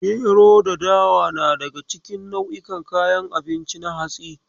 Gero da dawa na daga cikin nau'in kayan abinci na hatsi.